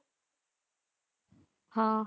ਹਾਂ।